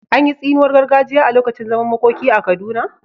An yi tsiniwar gargajiya a lokacin zaman makoki a Kaduna?